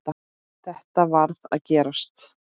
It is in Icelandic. Þetta varð að gerast.